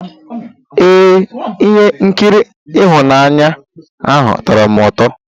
Ee, ihe nkiri ịhụnanya ahụ tọrọ m ụtọ.